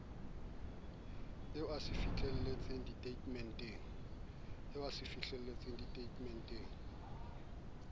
eo o se fihlelletse ditatemente